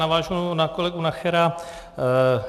Navážu na kolegu Nachera.